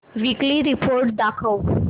weekly report दाखव